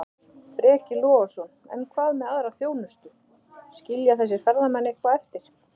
Breki Logason: En hvað með aðra þjónustu, skilja þessir ferðamenn eitthvað eftir?